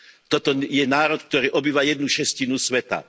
Toto je národ, ktorý obýva jednu šestinu sveta.